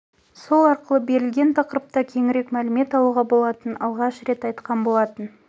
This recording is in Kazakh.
сол арқылы берілген тақырыпта кеңірек мәлімет алуға болатынын алғаш рет айтқан болатын